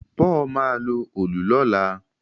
Paul má lọ Òòlù lọla